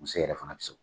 Muso yɛrɛ fana bɛ se